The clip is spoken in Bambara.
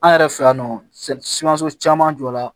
An yɛrɛ fɛ yan nɔ sikaso caman jɔra